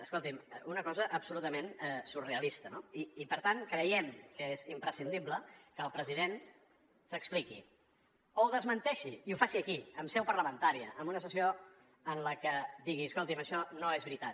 escoltin una cosa absolutament surrealista no i per tant creiem que és imprescindible que el president s’expliqui o ho desmenteixi i ho faci aquí en seu parlamentària en una sessió en la que digui escoltin això no és veritat